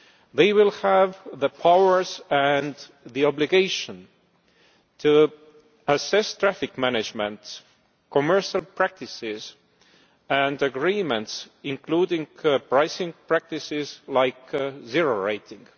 They will have the powers and the obligation to assess traffic management and commercial practices and agreements, including pricing practices like zero rating.